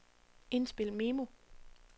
indspil memo